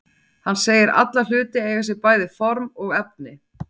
Hann segir alla hluti eiga sér bæði form og efni.